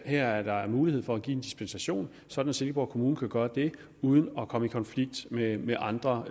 her er mulighed for at give en dispensation sådan at silkeborg kommune kan gøre det uden at komme i konflikt med med andre